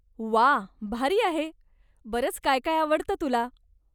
वाह, भारी आहे, बरंच काय काय आवडतं तुला.